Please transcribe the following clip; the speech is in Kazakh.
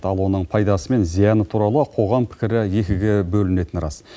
ал оның пайдасы мен зияны туралы қоғам пікірі екіге бөлінетіні рас